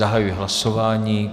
Zahajuji hlasování.